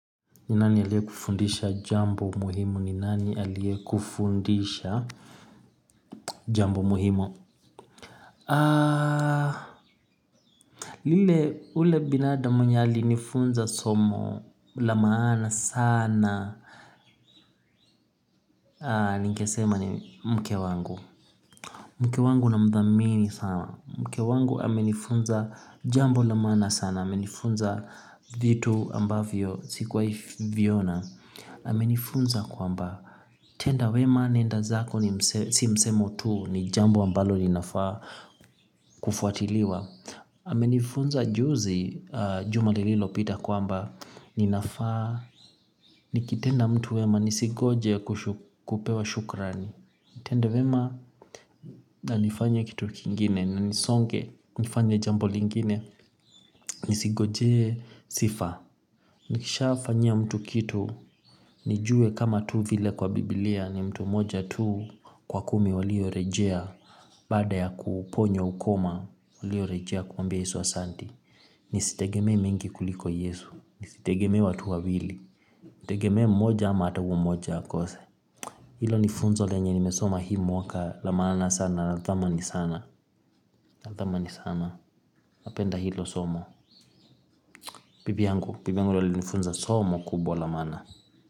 Ni nani aliye kufundisha jambo muhimu ni nani aliye kufundisha jambo muhimu lile ule binadamu mwenye alinifunza somo la maana sana ningesema ni mke wangu, mke wangu na mdhamini sana, mke wangu amenifunza jambo la maana sana, amenifunza vitu ambavyo sikuwai viona amenifunza kwamba tenda wema nenda zako si msemo tu ni jambo ambalo ninafaa kufuatiliwa. Amenifunza juzi juma lililopita kwamba ninafaa nikitenda mtu wema nisigoje kupewa shukrani. Tenda wema na nifanye kitu kingine na nisonge nifanye jambo lingine nisingoje sifa nikisha fanyia mtu kitu nijue kama tu vile kwa bibilia ni mtu moja tu kwa kumi walio rejea baada ya kuponywa ukoma walio rejea kumwambia yesu asanti. Nisitegeme mingi kuliko yesu. Nisitegeme watu wawili. Nitegeme mmoja ama ata uyo mmoja akose hilo nifunzo lenye nimesoma hii mwaka la maana sana na thamini sana, na thamini sana, napenda hilo somo, bibi yangu alinifunza somo kubwa la maana.